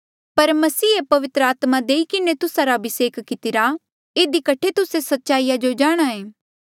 पर मसीहे पवित्र आत्मा देई किन्हें तुस्सा रा अभिसेक कितिरा इधी कठे तुस्से सच्चाईया जो जाणहां ऐें